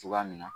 Cogoya min na